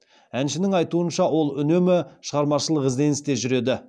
әншінің айтуынша ол үнемі шығармашылық ізденісте жүреді